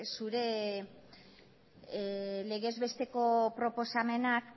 zure legez besteko proposamenak